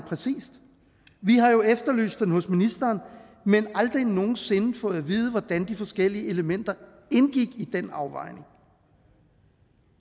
vi har jo efterlyst den hos ministeren men aldrig nogen sinde fået at vide hvordan de forskellige elementer indgik i den afvejning